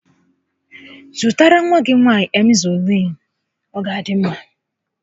Zụtara nwa gị nwaanyị Emzọliinu, ọ ga adị mma